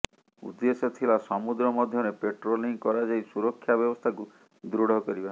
ଉଦେ୍ଦଶ୍ୟ ଥିଲା ସମୁଦ୍ର ମଧ୍ୟରେ ପ୍ୟାଟ୍ରୋଲିଂ କରାଯାଇ ସୁରକ୍ଷା ବ୍ୟବସ୍ଥାକୁ ଦୃଢ଼ କରିବା